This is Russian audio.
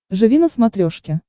живи на смотрешке